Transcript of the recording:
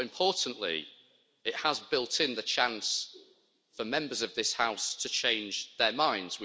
But importantly, it has built in the chance for Members of this House to change their minds.